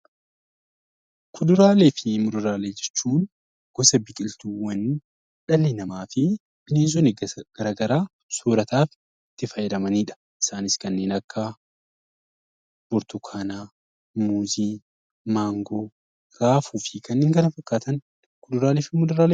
Kuduraalee fi muduraalee jechuun gosa biqiltuuwwan dhalli namaa fi bineensonni garaagaraa soorataaf itti fayyadamanidha. Kanneen akka burtukaanaa, muuzii , maangoo, raafuu fi kanneen kana fakkaatan kuduraalee fi muduraalee jedhamu.